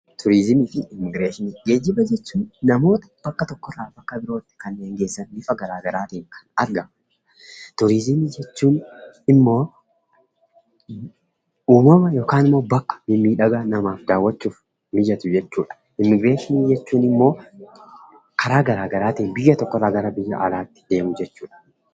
Geejjiba jechuun namoota bakka tokko irraa bakka birootti kanneen geessan yoo ta'u, innis bifa garaa garaatiin argama. Turizimii jechuun immoo uumama yookiin bakka miidhagaa namaaf daawwachuuf mijatu jechuudha. Immigireeshinii jechuun immoo karaa garaa garaatiin biyya tokko irraa gara biyya alaatti deemuu jechuudha.